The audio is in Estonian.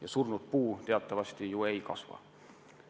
Ja surnud puu ju teatavasti ei kasva.